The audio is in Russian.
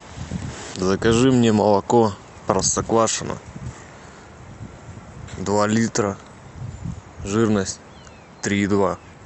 закажи мне молоко простоквашино два литра жирность три и два